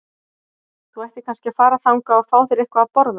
Þú ættir kannski að fara þangað og fá þér eitthvað að borða.